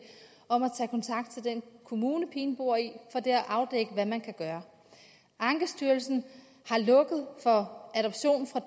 om at tage kontakt til den kommune pigen bor i for der at afdække hvad man kan gøre ankestyrelsen har lukket for adoption fra